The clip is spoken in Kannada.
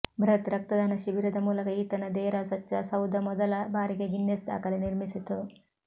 ಬೃಹತ್ ರಕ್ತದಾನ ಶಿಬಿರದ ಮೂಲಕ ಈತನ ದೇರಾ ಸಚ್ಚಾ ಸೌದ ಮೊದಲ ಬಾರಿಗೆ ಗಿನ್ನೆಸ್ ದಾಖಲೆ ನಿರ್ಮಿಸಿತು